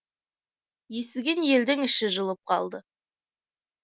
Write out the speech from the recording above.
естіген елдің іші жылып қалды